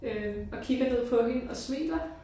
Øh og kigger ned på hende og smiler